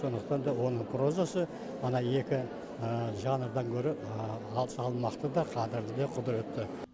сондықтан да оның прозасы ана екі жанрдан гөрі салмақты да қадірлі де құдіретті